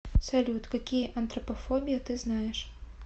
салют какие антропофобия ты знаешь